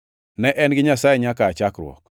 Ne en gi Nyasaye nyaka aa chakruok.